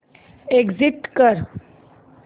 exit कर